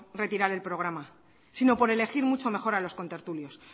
retirar el programa sino por elegir mucho mejor a los contertulios